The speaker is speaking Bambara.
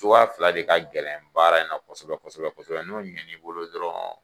Cogoya fila de ka gɛlɛn baara in na kosɛbɛ kosɛbɛ kosɛbɛ n'o ɲɛn'i bolo dɔrɔn